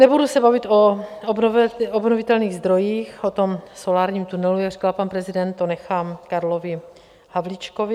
Nebudu se bavit o obnovitelných zdrojích, o tom solárním tunelu, jak říkal pan prezident, to nechám Karlovi Havlíčkovi.